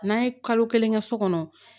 N'an ye kalo kelen kɛ so kɔnɔ